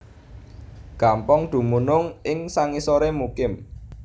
Gampong dumunung ing sangisoré Mukim